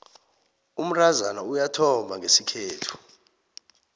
umntazana uyathomba ngesikhethu